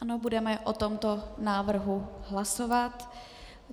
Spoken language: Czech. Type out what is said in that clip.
Ano, budeme o tomto návrhu hlasovat.